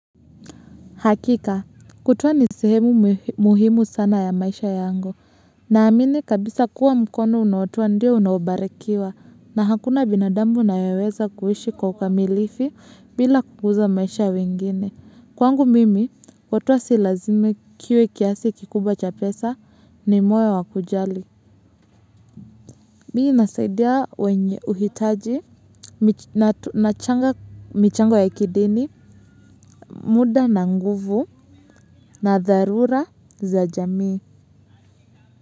Hakika kutoa ni sehemu muhimu sana ya maisha yangu naamini kabisa mkono unaotoa ndiwo unaobarikiwa na hakuna binadamu. Kwangu mimi, watuwa silazimi kiwe kiasi kikubwa cha pesa, ni moyo wa kujali. Mii nasaidia uhitaji, nachanga michango ya kidini, muda na nguvu na dharura za jamii.